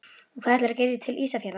Og hvað ætlarðu að gera til Ísafjarðar?